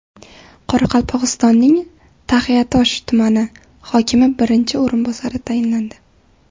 Qoraqalpog‘istonning Taxiatosh tumani hokimi birinchi o‘rinbosari tayinlandi.